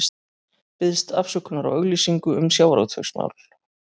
Biðst afsökunar á auglýsingu um sjávarútvegsmál